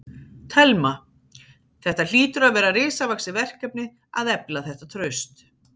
Telma: Þetta hlýtur að vera risavaxið verkefni að efla þetta traust?